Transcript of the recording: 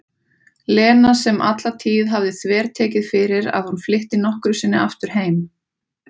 Lena sem alla tíð hafði þvertekið fyrir að hún flytti nokkru sinni aftur heim.